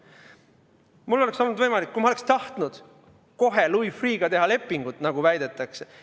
Mul oleks olnud võimalik, kui ma oleksin tahtnud, kohe Louis Freeh'ga lepingu teha, nagu väidetakse.